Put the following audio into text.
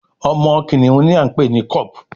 Omo kìnìún ní a npè ní cub